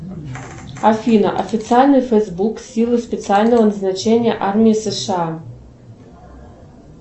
афина официальный фейсбук силы специального назначения армии сша